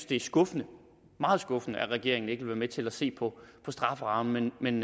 det er skuffende meget skuffende at regeringen ikke vil være med til at se på strafferammen men